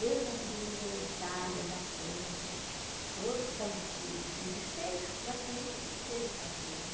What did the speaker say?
Mesmo o Partido Comunista da Itália, da França, todos estavam se desfez, praticamente se desfez o partido.